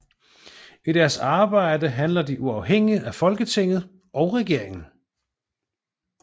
I deres arbejde handler de uafhængigt af Folketinget og regering